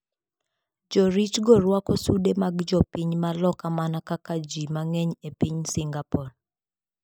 Joritgo rwako sude mag jopiny ma loka mana kaka ji mang'eny e piny Singapore.